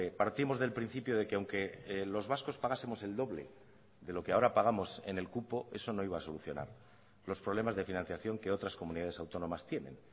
partimos del principio de que aunque los vascos pagásemos el doble de lo que ahora pagamos en el cupo eso no iba a solucionar los problemas de financiación que otras comunidades autónomas tienen